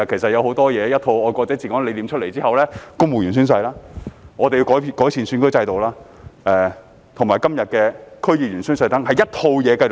在"愛國者治港"理念出台後，要落實公務員宣誓、完善選舉制度及今天的區議員宣誓，全部都在一套制度之下。